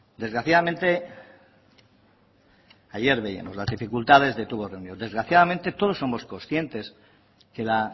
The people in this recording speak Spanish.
desgraciadamente ayer veíamos las dificultades de tubos reunidos desgraciadamente todos somos conscientes que la